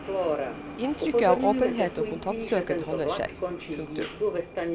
Inntrykket av åpenhet og kontaktsøken holder seg. punktum